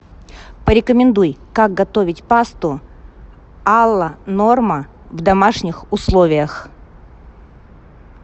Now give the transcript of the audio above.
порекомендуй как готовить пасту алла норма в домашних условиях